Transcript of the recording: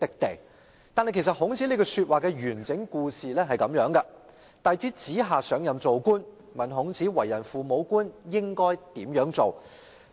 不過，孔子這句話的來龍去脈是這樣的，孔子弟子子夏上任當官，問孔子為人父母官應如何治理政事。